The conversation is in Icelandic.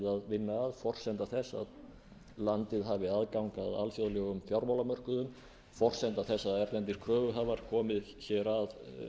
vinna að forsenda þess að landið hafi aðgang að alþjóðlegum fjármálamörkuðum forsenda þess að erlendir kröfuhafar komi hér að